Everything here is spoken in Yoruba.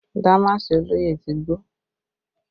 Damaasi olóyè ti gbó